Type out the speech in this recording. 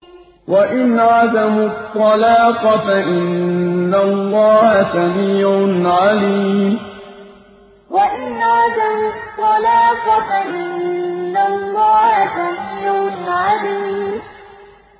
وَإِنْ عَزَمُوا الطَّلَاقَ فَإِنَّ اللَّهَ سَمِيعٌ عَلِيمٌ وَإِنْ عَزَمُوا الطَّلَاقَ فَإِنَّ اللَّهَ سَمِيعٌ عَلِيمٌ